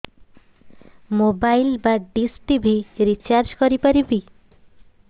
mobile ବା dish TV recharge କରି ପାରିବି